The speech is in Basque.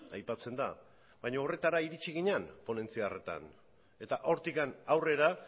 aipatzen da baina horretara iritzi ginen ponentzia hartan eta hortik aurrera